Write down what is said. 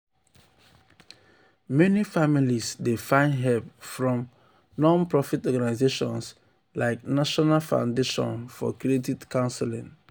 meni families dey find hep from non-profit organizations like national foundation for credit counseling.